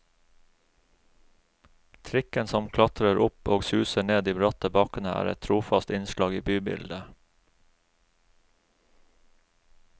Trikken som klatrer opp og suser ned de bratte bakkene er et trofast innslag i bybildet.